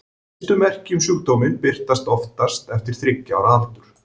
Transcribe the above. Fyrstu merki um sjúkdóminn birtast oftast fyrir þriggja ára aldur.